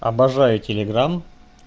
обожаю телеграмм